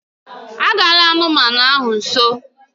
Agala nso anụmanụ ndị ahụ!